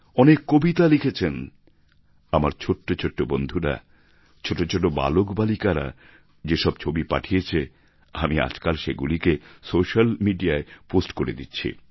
অনেকে কবিতা লিখেছেন আমার ছোটো ছোটো বন্ধুরা ছোটো ছোটো বালক বালিকারা যে সব ছবি পাঠিয়েছে আমি আজকাল সেগুলিকে সোস্যাল মিডিয়ায় পোস্ট করে দিচ্ছি